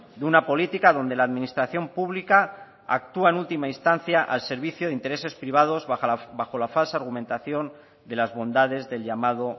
de una política donde la administración pública actúa en última instancia al servicio de intereses privados bajo la falsa argumentación de las bondades del llamado